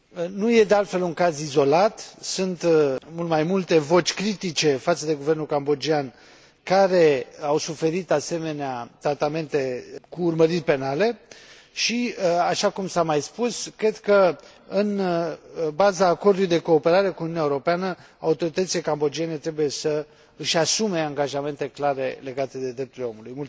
Nu este, de altfel, un caz izolat. Sunt mult mai multe voci critice față de guvernul cambodgian care au suferit asemenea tratamente cu urmăriri penale și, așa cum s a mai spus, cred că, în baza acordului de cooperare cu Uniunea Europeană, autoritățile cambodgiene trebuie să își asume angajamente clare legate de drepturile omului.